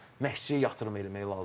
Məşqçiyə yatırım eləmək lazımdır.